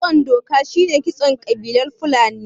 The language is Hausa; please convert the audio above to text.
Kitson doka shine kitson ƙabilar fulani